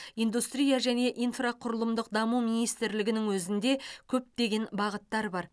индустрия және инфрақұрылымдық даму министрлігінің өзінде көптеген бағыттар бар